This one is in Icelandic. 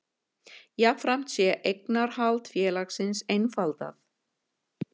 Jafnframt sé eignarhald félagsins einfaldað